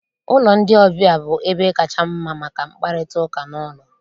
Ụlọ ndị ọbịa bụ ebe kacha mma maka mkparịtaụka n'ụlọ